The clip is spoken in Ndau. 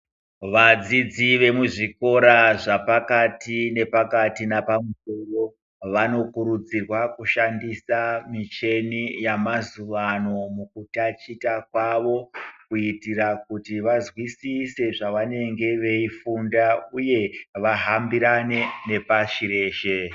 Vadzidzi vemuzvikora zvapakati nepakati napamusoro vanokurudzirwa kushandisa mucheni yamazuwa ano kutachita kwavo kuitira kuti vazwisise zvavanenge veifunda uye vahambirane nepashi reshe.